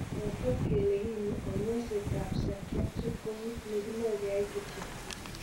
Ko ketet kele Konyoiset ap psychiatric Ko kit ne kime kyai kityok.